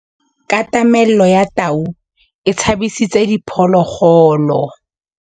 Katamêlô ya tau e tshabisitse diphôlôgôlô.